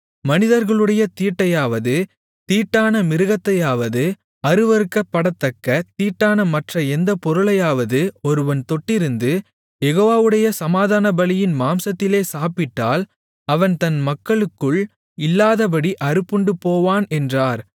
மனிதர்களுடைய தீட்டையாவது தீட்டான மிருகத்தையாவது அருவருக்கப்படத்தக்க தீட்டான மற்ற எந்த பொருளையாவது ஒருவன் தொட்டிருந்து யெகோவாவுடைய சமாதானபலியின் மாம்சத்திலே சாப்பிட்டால் அவன் தன் மக்களுக்குள் இல்லாதபடி அறுப்புண்டுபோவான் என்றார்